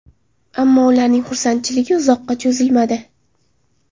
Ammo ularning xursandchiligi uzoqqa cho‘zilmadi.